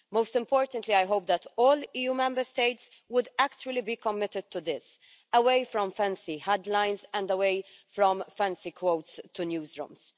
Most importantly, I hope that all EU Member States will actually be committed to this away from fancy headlines and away from fancy quotes to newsrooms.